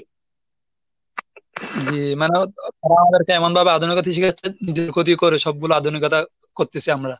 জি মানে আমাদেরকে এমনভাবে আধুনিকতা শিখাচ্ছে যে ক্ষতি করে সবগুলো আধুনিকতা করতেছি আমরা।